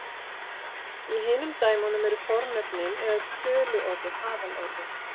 Í hinum dæmunum eru fornöfnin eða töluorðin aðalorðin.